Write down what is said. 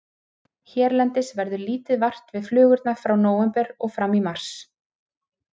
Hérlendis verður lítið vart við flugurnar frá nóvember og fram í mars.